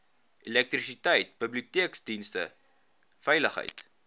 elektrisiteit biblioteekdienste veiligheid